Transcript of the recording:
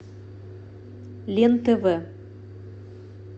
лен тв